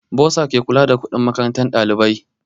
Bursa ke kula da kuɗin makarantar ɗalibai